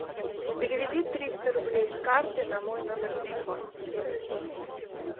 переведи триста рублей с карты на мой номер телефона